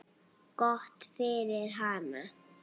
Gott fyrir hana.